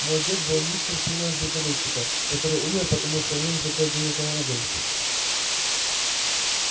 мой дед был нищим сыном звездолётчика который умер потому что у него не хватило денег на уголь